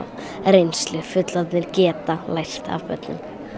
eigin reynslu fullorðnir geta lært af börnum